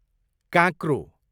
काँक्रो